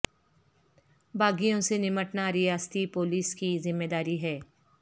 باغیوں سے نمٹنا ریاستی پولیس کی ذمہ داری ہے